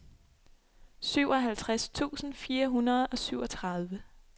syvoghalvtreds tusind fire hundrede og syvogtredive